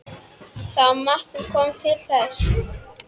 Það var margt sem kom til þess.